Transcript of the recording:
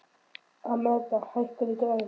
Amadea, hækkaðu í græjunum.